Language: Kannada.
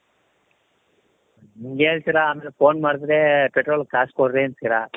ಹಿಂಗ್ ಹೇಳ್ತಿರ ಅಂದ್ರೆ phone ಮಾಡುದ್ರೆ petrolಗೆ ಕಾಸು ಕೊಡ್ರಿ ಅಂತೀರ